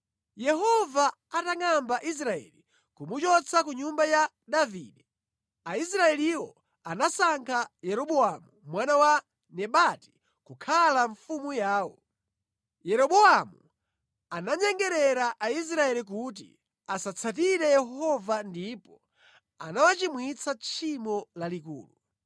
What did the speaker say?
Yehova atangʼamba Israeli kumuchotsa ku nyumba ya Davide, Aisraeliwo anasankha Yeroboamu mwana wa Nebati kukhala mfumu yawo. Yeroboamu ananyengerera Aisraeli kuti asatsatire Yehova ndipo anawachimwitsa tchimo lalikulu.